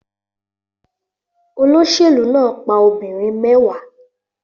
Olóṣèlú náà pa obìnrin mẹ́wàá